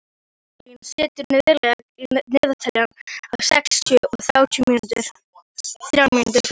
Marlín, stilltu niðurteljara á sextíu og þrjár mínútur.